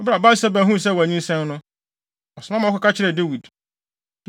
Bere a Batseba huu sɛ wanyinsɛn no, ɔsoma ma wɔkɔka kyerɛɛ Dawid.